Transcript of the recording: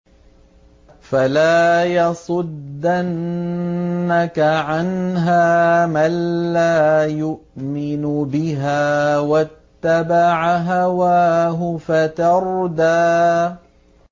فَلَا يَصُدَّنَّكَ عَنْهَا مَن لَّا يُؤْمِنُ بِهَا وَاتَّبَعَ هَوَاهُ فَتَرْدَىٰ